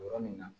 Yɔrɔ min na